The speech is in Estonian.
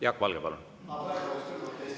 Jaak Valge, palun!